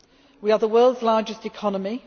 We are the world's largest economy.